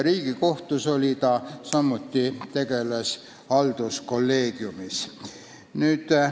Riigikohtus tegutses ta samuti halduskolleegiumis.